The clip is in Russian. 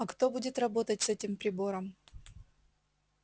а кто будет работать с этим прибором